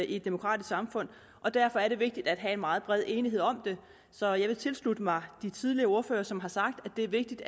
i et demokratisk samfund og derfor er det vigtigt at have en meget bred enighed om det så jeg vil tilslutte mig de tidligere ordførere som har sagt at det er vigtigt